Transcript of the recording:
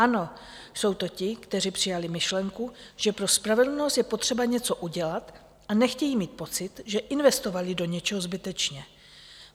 Ano, jsou to ti, kteří přijali myšlenku, že pro spravedlnost je potřeba něco udělat, a nechtějí mít pocit, že investovali do něčeho zbytečně.